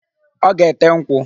Ọ ga-ete nkwụ.